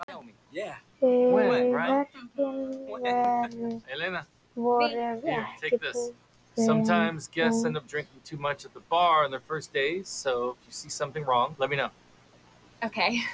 Verkin voru ekki boðin út.